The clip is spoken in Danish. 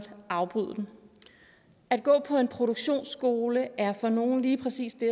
afbryde den at gå på en produktionsskole er for nogle lige præcis det